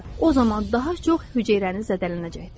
o zaman daha çox hüceyrəniz zədələnəcəkdir.